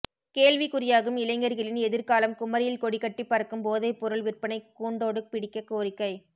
கேள்விக்குறியாகும் இளைஞர்களின் எதிர்காலம் குமரியில் கொடிகட்டி பறக்கும் போதை பொருள் விற்பனை கூண்டோடு பிடிக்க கோரிக்கை